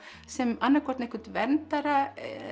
sem annað hvort einhvern verndara